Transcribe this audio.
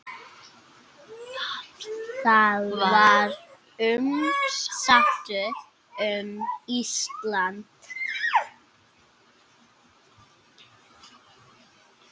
Það var umsátur um Ísland.